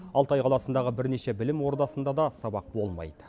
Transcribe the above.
алтай қаласындағы бірнеше білім ордасында да сабақ болмайды